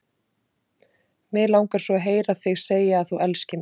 Mig langar svo að heyra þig segja að þú elskir mig!